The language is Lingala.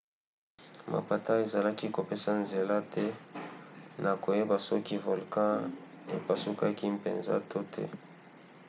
mapata ezalaki kopesa nzela te na koyeba soki volkan epasukaki mpenza to te